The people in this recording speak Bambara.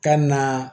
Ka na